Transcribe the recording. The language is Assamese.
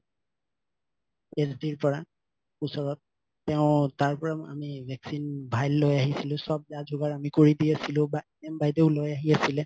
পৰা ওচৰত তেওঁ তাৰ পৰা আমি vaccine file লৈ আহিছিলো চব জা জোগাৰ আমি কৰি দি আছিলো বা NM বাইদেউ লৈ আহি আছিলে